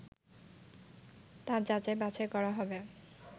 তা যাচাই বাছাই করা হবে